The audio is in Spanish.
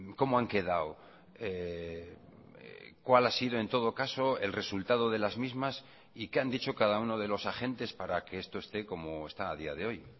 cómo han quedado cuál ha sido en todo caso el resultado de las mismas y qué han dicho cada uno de los agentes para que esto esté como está a día de hoy